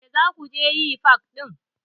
Me za ku je yi fak ɗin?